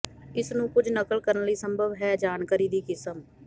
ਇਸ ਨੂੰ ਕੁਝ ਨਕਲ ਕਰਨ ਲਈ ਅਸੰਭਵ ਹੈ ਜਾਣਕਾਰੀ ਦੀ ਕਿਸਮ